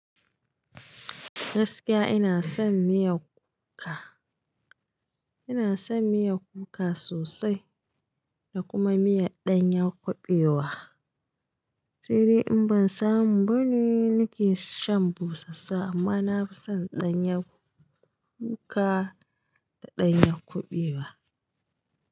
Gaskiya ina son miyar kuka, ina son miyar kuka sosai da kuma miyar ɗanyar kuɓewa. Sai dai in ban samu bane nake shan bushashshiya amma na fi son ɗanyar kuka da ɗanyar kuɓewa.